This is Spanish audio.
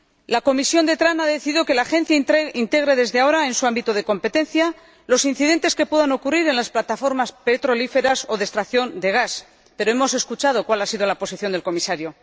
La Comisión de Transportes y Turismo ha decidido que la Agencia integre, desde ahora, en su ámbito de competencia, los incidentes que puedan ocurrir en las plataformas petrolíferas o de extracción de gas, pero hemos escuchado cuál ha sido la posición del Comisario.